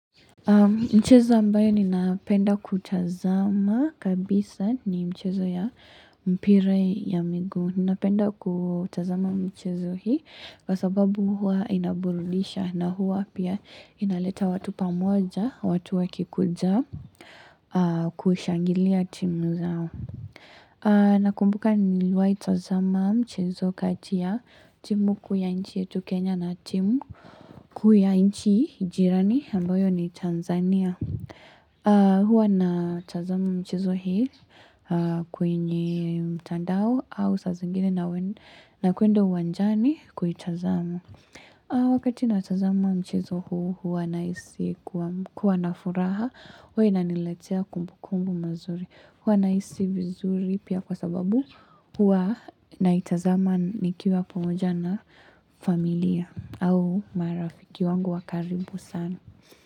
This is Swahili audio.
Mchezo ambayo ninapenda kutazama kabisa ni mchezo ya mpira ya miguu. Ninapenda kutazama mchezo hii kwa sababu huwa inaburudisha na huwa pia inaleta watu pamoja, watu wakikuja kushangilia timu zao. Nakumbuka niliwai tazama mchezo kati ya timu kuu ya inchi yetu Kenya na timu kuu ya inchi jirani ambayo ni Tanzania Huwa natazama mchezo hii kwenye mtandao au sa zingine nakwenda uwanjani kuitazama. Wakati natazama mchezo huu huwa nahisi kuwa na furaha huwa inaniletea kumbukumbu mazuri. Huwa nahisi vizuri pia kwa sababu huwa naitazama nikiwa pamoja na familia au marafiki wangu wa karibu sana.